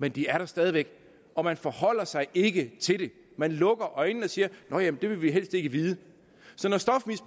men det er der stadig væk og man forholder sig ikke til det man lukker øjnene og siger nå ja det vil vi helst ikke vide